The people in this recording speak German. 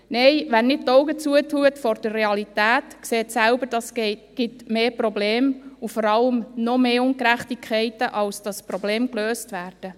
Nein, wer die Augen nicht vor der Realität verschliesst, sieht selbst, dass es dadurch mehr Probleme gibt und vor allem noch mehr Ungerechtigkeiten, als Probleme gelöst würden.